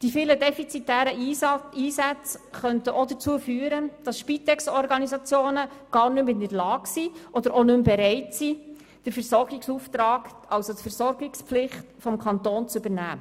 Die vielen defizitären Einsätze könnten auch dazu führen, dass Spitexorganisationen gar nicht mehr in der Lage oder gar nicht mehr bereit sind, die Versorgungspflicht für den Kanton zu übernehmen.